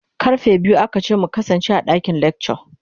Karfe biyu aka ce mu kasance a dakin lecture.